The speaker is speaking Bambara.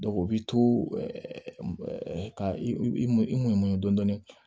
o b'i to ɛɛ ka i m i mɔ dɔɔnin dɔɔnin